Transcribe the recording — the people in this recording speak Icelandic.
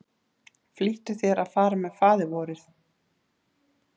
Flýttu þér að fara með Faðirvorið.